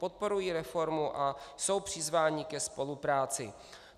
Podporují reformu a jsou přizváni ke spolupráci.